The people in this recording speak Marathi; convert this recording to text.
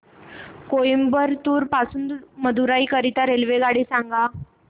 कोइंबतूर पासून मदुराई करीता रेल्वेगाडी सांगा